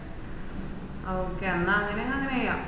ആ okay എന്നാ അങ്ങനെ അങ്ങനെ ചെയ്യാ